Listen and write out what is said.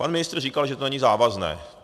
Pan ministr říkal, že to není závazné.